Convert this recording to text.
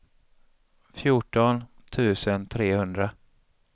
fjorton tusen trehundra